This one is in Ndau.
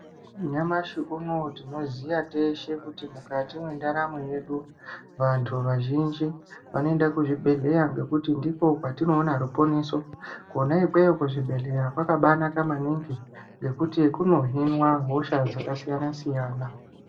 Nyamashi unowu tinoziya teshe kuti mukati mwendaramo yedu vanthu vazhinji vanoenda kuzvibhedhleya ngekuti ndiko kwetinoona ruponeso Kona ikweyo kuzvibhedhleya kwakabaanaka maningi ngekuti kunohinwa hosha dzakasiyana-siyana.